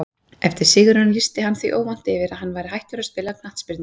Eftir sigurinn lýsti hann því óvænt yfir að hann væri hættur að spila knattspyrnu.